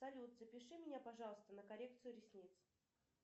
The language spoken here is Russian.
салют запиши меня пожалуйста на коррекцию ресниц